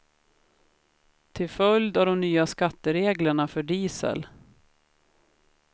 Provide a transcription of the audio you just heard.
Till följd av de nya skattereglerna för diesel.